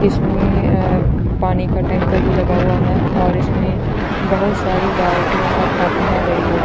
इसमें ए पानी का टैंकर भी लगा हुआ हैऔर इसमें बहुत सारी बाल्टियां और टप है बड़ी-बड़ी।